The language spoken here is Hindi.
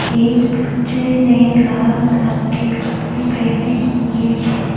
इस बच्चे ने लाल रंग के कपड़े पहने हुए हैं।